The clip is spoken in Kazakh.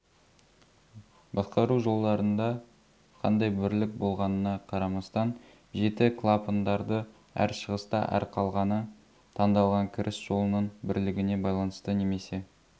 басқару жолдарында қандай бірлік болғанына қарамастан жеті клапандарды әр шығыста ал қалғаны таңдалған кіріс жолының бірлігіне байланысты немесе